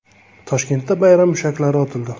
Toshkentda bayram mushaklari otildi .